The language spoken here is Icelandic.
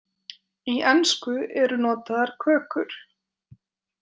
Í ensku eru notaðar kökur.